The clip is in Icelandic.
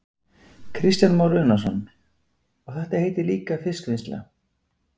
Kristján Már Unnarsson: Og þetta heitir líka fiskvinnsla?